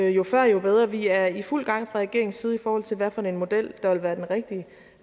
jo før jo bedre vi er i fuld gang fra regeringens side i forhold til hvad for en model der vil være den rigtige